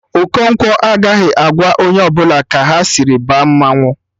Okonkwo agaghị agwa onye ọbụla ka ha sịrị baa mmanwụ